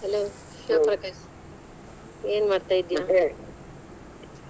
Hello Shivaprakash ಏನ್ ಮಾಡ್ತಾ ?